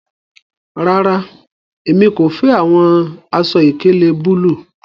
Rara, emi ko fẹ awọn aṣọ-ìkéle bulu